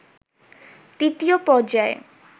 তৃতীয় পর্যায়ে